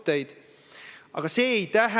See on väga tõsine süüdistus.